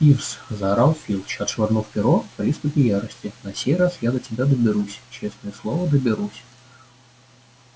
пивз заорал филч отшвырнув перо в приступе ярости на сей раз я до тебя доберусь честное слово доберусь